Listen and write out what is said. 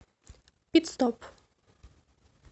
пит стоп